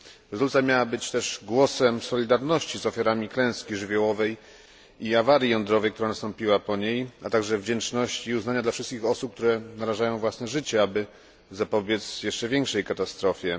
Rezolucja miała być też głosem solidarności z ofiarami klęski żywiołowej i awarii jądrowej, która nastąpiła po niej, a także wdzięczności i uznania dla wszystkich osób, które narażają własne życie, aby zapobiec jeszcze większej katastrofie.